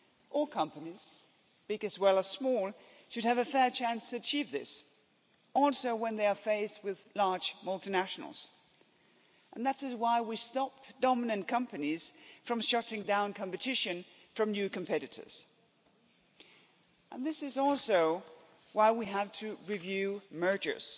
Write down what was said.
All companies, big as well as small, should have a fair chance to achieve this also when they are faced with large multinationals, and that is why we stop dominant companies from shutting down competition from new competitors, and this is also why we have to review mergers,